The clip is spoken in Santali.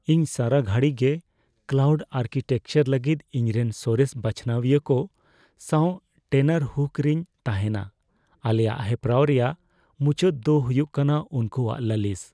ᱤᱧ ᱥᱟᱨᱟ ᱜᱷᱟᱹᱲᱤ ᱜᱮ ᱠᱞᱟᱣᱩᱰ ᱟᱨᱠᱤᱴᱮᱠᱪᱟᱨ ᱞᱟᱹᱜᱤᱫ ᱤᱧᱨᱮᱱ ᱥᱚᱨᱮᱥ ᱵᱟᱪᱷᱱᱟᱣᱤᱭᱟᱹ ᱠᱚ ᱥᱟᱶ ᱴᱮᱱᱟᱨᱦᱩᱠ ᱨᱮᱧ ᱛᱟᱦᱮᱱᱟ ᱾ ᱟᱞᱮᱭᱟᱜ ᱦᱮᱯᱨᱟᱣ ᱨᱮᱭᱟᱜ ᱢᱩᱪᱟᱹᱫ ᱫᱚ ᱦᱩᱭᱩᱜ ᱠᱟᱱᱟ ᱩᱱᱠᱩᱣᱟᱜ ᱞᱟᱹᱞᱤᱥ ᱾